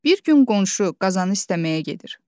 Bir gün qonşu qazanı istəməyə gedir.